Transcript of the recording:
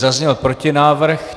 Zazněl protinávrh.